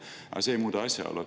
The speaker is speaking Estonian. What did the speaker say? Aga see ei muuda asja.